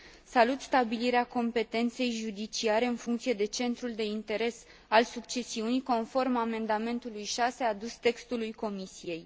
Salut stabilirea competenței judiciare în funcție de centrul de interes al succesiunii, conform amendamentului 6 adus textului Comisiei.